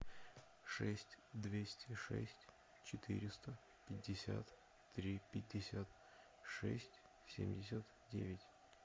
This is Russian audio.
шесть двести шесть четыреста пятьдесят три пятьдесят шесть семьдесят девять